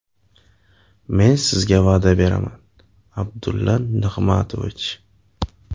Men sizga va’da beraman, Abdulla Nig‘matovich.